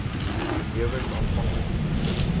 benewens aanvanklike toetsings